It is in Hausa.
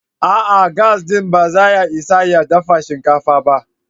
A'a! Gas ɗin ba zai isa ya dafa shinkafar ba.